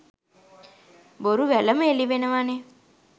බොරු වැලම එළි වෙනවනෙ.